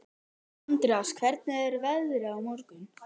Andreas, hvernig er veðrið á morgun?